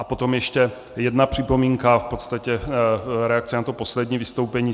A potom ještě jedna připomínka, v podstatě reakce na to poslední vystoupení.